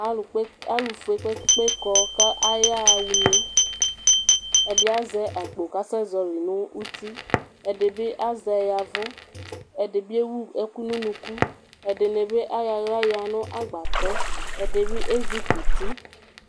Alʋfue kpe kpe kpe kɔ kʋ ayaxa une Ɛdi azɛ akpo kʋ asɛzɔli nʋ uti, ɛdibi azɛ ya ɛvʋ, ɛdibi ewʋ ɛkʋ nʋ ʋnʋkʋ Ɛdini bi ayɔ aɣla yanʋ agbatɛ, ɛdibi ezi kɔ uti